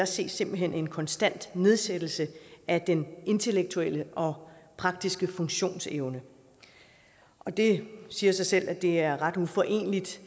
ses simpelt hen en konstant nedsættelse af den intellektuelle og praktiske funktionsevne det siger sig selv at det er ret uforeneligt